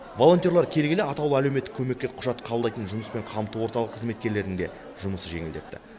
волонтерлар келгелі атаулы әлеуметтік көмекке құжат қабылдайтын жұмыспен қамту орталығы қызметкерлерінің де жұмысы жеңілдепті